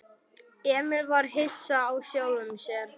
Emil var hissa á sjálfum sér.